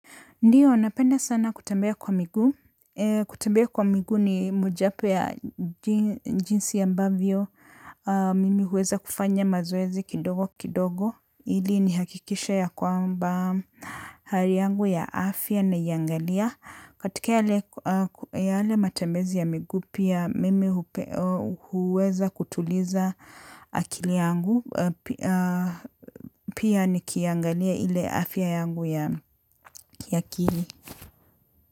Ndio, napenda sana kutembea kwa miguu. Kutembea kwa miguu ni mojawapo ya jinsi ambavyo. Mimi huweza kufanya mazoezi kidogo kidogo. Ili nihakikishe ya kwamba, hali yangu ya afya naiangalia. Katika yale matembezi ya miguu, pia mimi huweza kutuliza akili yangu. Pia nikiangalia ile afya yangu ya kiakili.